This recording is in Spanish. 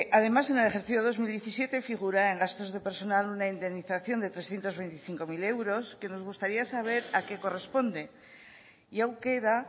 además en el ejercicio dos mil diecisiete figura en gastos de personal una indemnización de trescientos veinticinco mil euros que nos gustaría saber a qué corresponde y aún queda